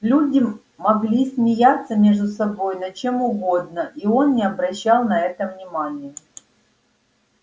люди могли смеяться между собой над чем угодно и он не обращал на это внимания